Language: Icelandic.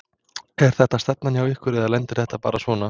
Er þetta stefna hjá ykkur eða lendir þetta bara svona?